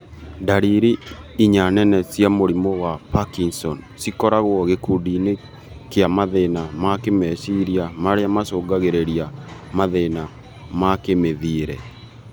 Ndariri inya nene cia mũrimũ wa Parkinson cikoragwo gĩkundi-inĩ kia mathĩna ma kĩmeciria marĩa macungagĩrĩria mathĩna makĩmĩthiĩre